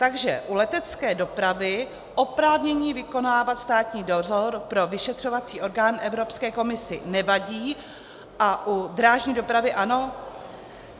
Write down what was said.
Takže u letecké dopravy oprávnění vykonávat státní dozor pro vyšetřovací orgán Evropské komisi nevadí a u drážní dopravy ano?